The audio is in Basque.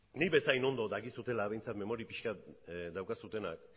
nik bezain ondo dakizutela behintzat memori pixka bat daukazuenak